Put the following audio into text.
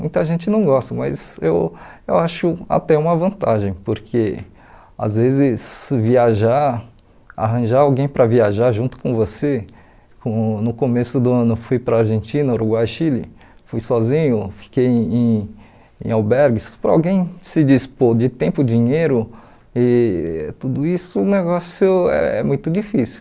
Muita gente não gosta, mas eu eu acho até uma vantagem, porque às vezes viajar, arranjar alguém para viajar junto com você, como no começo do ano fui para a Argentina, Uruguai, Chile, fui sozinho, fiquei em em albergues, para alguém se dispor de tempo, dinheiro e tudo isso, o negócio é muito difícil.